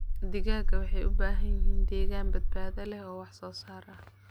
Digaagga waxay u baahan yihiin deegaan badbaado leh oo wax soo saar ah.